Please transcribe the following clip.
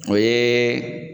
O ye